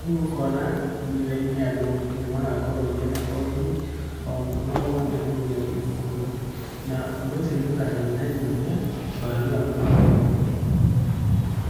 Rĩu ũkona thutha-inĩ andũ nĩmagakorwo mena kothi,o mwana o mwana rĩu ũrĩa wĩ thukuru na ũndũ ũcio nĩ ũkanyihanyihia wagi wa mawĩra.